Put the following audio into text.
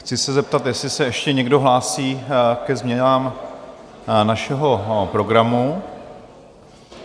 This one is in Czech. Chci se zeptat, jestli se ještě někdo hlásí ke změnám našeho programu.